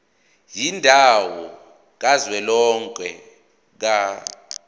yendawo kazwelonke ka